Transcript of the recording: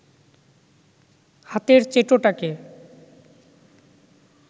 হাতের চেটোটাকে